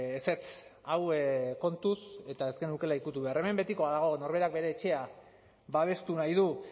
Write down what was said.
ezetz hau kontuz eta ez genukeela ikutu behar hemen betikoa dago norberak bere etxea babestu nahi du